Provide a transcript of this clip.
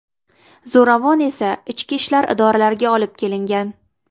Zo‘ravon esa ichki ishlar idoralariga olib kelingan.